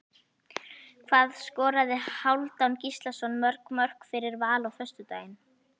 Hvað skoraði Hálfdán Gíslason mörg mörk fyrir Val á föstudaginn?